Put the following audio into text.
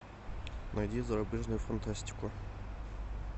найди зарубежную фантастику